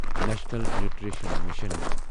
national nutrition mission